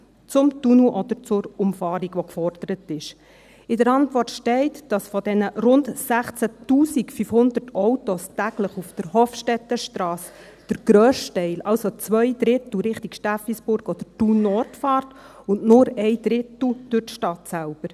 Zum Tunnel oder zur Umfahrung, die gefordert ist: In der Antwort steht, dass von den täglich rund 16 500 Autos auf der Hofstettenstrasse der grösste Teil, also zwei Drittel, Richtung Steffisburg oder Thun Nord fährt und nur ein Drittel durch die Stadt selbst.